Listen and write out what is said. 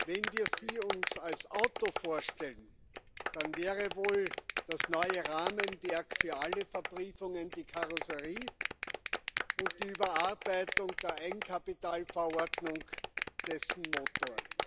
Wenn wir sie uns als Auto vorstellen, dann wäre wohl das neue Rahmenwerk für alle Verbriefungen die Karosserie und die Überarbeitung der Eigenkapitalverordnung dessen Motor.